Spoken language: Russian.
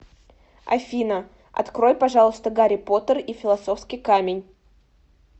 афина открой пожалуйста гарри поттер и филосовский камень